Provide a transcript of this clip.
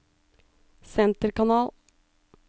senterkanal